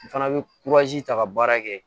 N fana bɛ ta ka baara kɛ